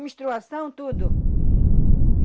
Menstruação, tudo.